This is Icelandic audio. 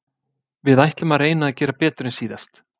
Við ætlum að reyna að gera betur en síðast.